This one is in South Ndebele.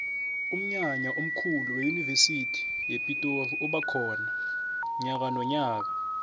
umnyanya omkhulu weyunivesi yepitori uba khona nyakanonyaka